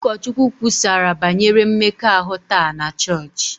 Ụkọchukwu kwusara banyere mmekọahụ taa na chọọchị